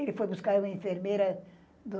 Ele foi buscar uma enfermeira do...